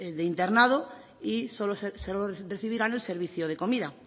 de internado y solo recibirán el servicio de comida